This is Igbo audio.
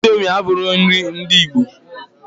Índomi abughi nri ndị ìgbo.